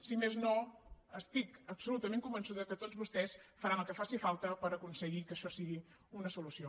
si més no estic absolutament convençuda que tots vostès faran el que faci falta per aconseguir que això sigui una solució